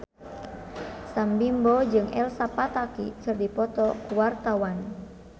Sam Bimbo jeung Elsa Pataky keur dipoto ku wartawan